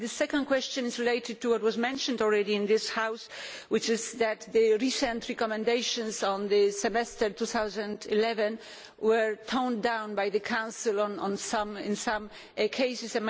The second question is related to what was mentioned already in this House, which is that the recent recommendations on the 2011 Semester were toned down by the Council in some cases.